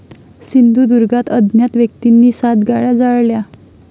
सिंधुदुर्गात अज्ञात व्यक्तींनी सात गाड्या जाळल्या